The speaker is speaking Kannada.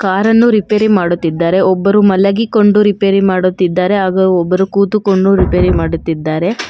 ಕಾರನ್ನು ರಿಪೇರಿ ಮಾಡುತ್ತಿದ್ದಾರೆ ಒಬ್ಬರು ಮಲಗಿಕೊಂಡು ರಿಪೇರಿ ಮಾಡುತ್ತಿದ್ದಾರೆ ಹಾಗು ಒಬ್ಬರು ಕೂತುಕೊಂಡು ರಿಪೇರಿ ಮಾಡುತ್ತಿದ್ದಾರೆ.